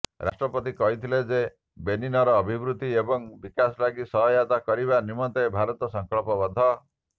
ରାଷ୍ଟ୍ରପତି କହିଥିଲେ ଯେ ବେନିନର ଅଭିବୃଦ୍ଧି ଏବଂ ବିକାଶ ଲାଗି ସହାୟତା କରିବା ନିମନ୍ତେ ଭାରତ ସଂକଳ୍ପବଦ୍ଧ